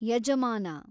ಯಜಮಾನ